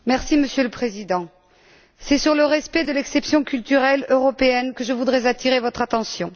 Monsieur le Président, c'est sur le respect de l'exception culturelle européenne que je voudrais attirer votre attention.